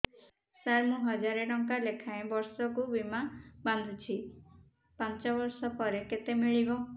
ସାର ମୁଁ ହଜାରେ ଟଂକା ଲେଖାଏଁ ବର୍ଷକୁ ବୀମା ବାଂଧୁଛି ପାଞ୍ଚ ବର୍ଷ ପରେ କେତେ ମିଳିବ